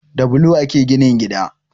Da bulo ake ginin gida